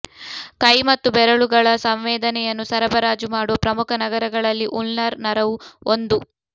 ಕೈ ಮತ್ತು ಬೆರಳುಗಳ ಸಂವೇದನೆಯನ್ನು ಸರಬರಾಜು ಮಾಡುವ ಪ್ರಮುಖ ನರಗಳಲ್ಲಿ ಉಲ್ನರ್ ನರವು ಒಂದು